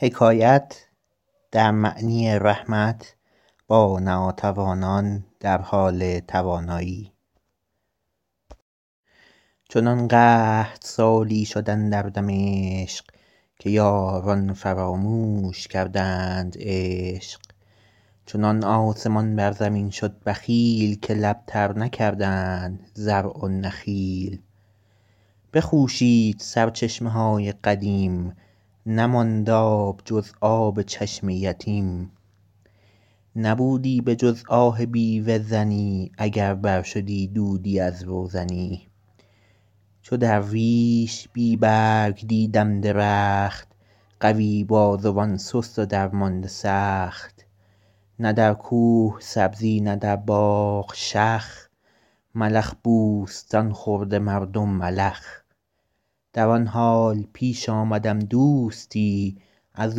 چنان قحط سالی شد اندر دمشق که یاران فراموش کردند عشق چنان آسمان بر زمین شد بخیل که لب تر نکردند زرع و نخیل بخوشید سرچشمه های قدیم نماند آب جز آب چشم یتیم نبودی به جز آه بیوه زنی اگر بر شدی دودی از روزنی چو درویش بی رنگ دیدم درخت قوی بازوان سست و درمانده سخت نه در کوه سبزی نه در باغ شخ ملخ بوستان خورده مردم ملخ در آن حال پیش آمدم دوستی از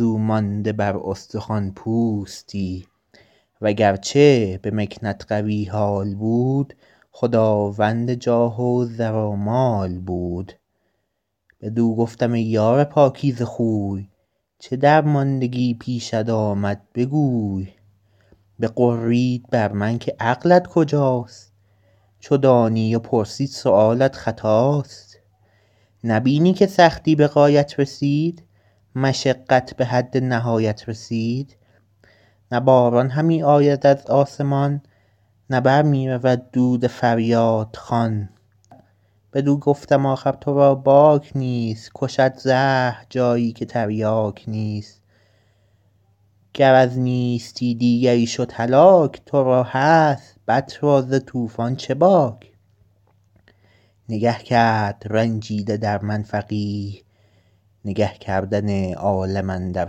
او مانده بر استخوان پوستی وگرچه به مکنت قوی حال بود خداوند جاه و زر و مال بود بدو گفتم ای یار پاکیزه خوی چه درماندگی پیشت آمد بگوی بغرید بر من که عقلت کجاست چو دانی و پرسی سؤالت خطاست نبینی که سختی به غایت رسید مشقت به حد نهایت رسید نه باران همی آید از آسمان نه بر می رود دود فریادخوان بدو گفتم آخر تو را باک نیست کشد زهر جایی که تریاک نیست گر از نیستی دیگری شد هلاک تو را هست بط را ز طوفان چه باک نگه کرد رنجیده در من فقیه نگه کردن عالم اندر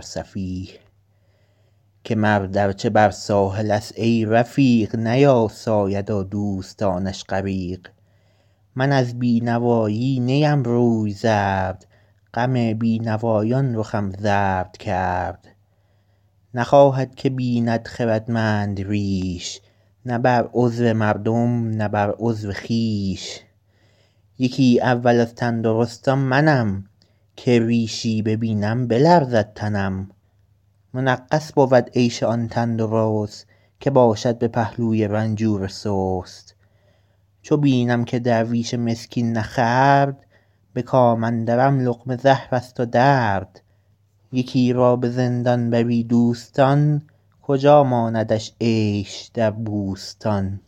سفیه که مرد ارچه بر ساحل است ای رفیق نیاساید و دوستانش غریق من از بینوایی نیم روی زرد غم بینوایان رخم زرد کرد نخواهد که بیند خردمند ریش نه بر عضو مردم نه بر عضو خویش یکی اول از تندرستان منم که ریشی ببینم بلرزد تنم منغص بود عیش آن تندرست که باشد به پهلوی بیمار سست چو بینم که درویش مسکین نخورد به کام اندرم لقمه زهر است و درد یکی را به زندان درش دوستان کجا ماندش عیش در بوستان